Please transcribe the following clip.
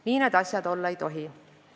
Nii need asjad olla ei tohi.